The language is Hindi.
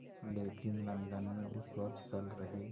लेकिन लंदन में उस वक़्त चल रहे